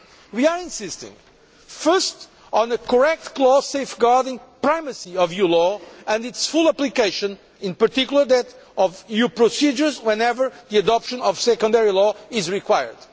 We are insisting, first, on a correct clause safeguarding primacy of EU law and its full application, in particular that of EU procedures whenever the adoption of secondary law is required.